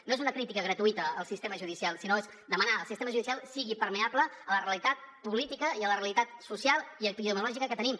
no és una crítica gratuïta al sistema judicial sinó que és demanar al sistema judicial que sigui permeable a la realitat política i a la realitat social i epidemiològica que tenim